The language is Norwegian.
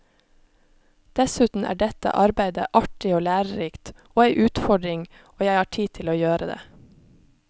Dessuten er dette arbeidet artig og lærerikt, og ei utfordring, og jeg har tid til å gjøre det.